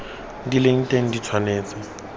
di leng teng di tshwanetse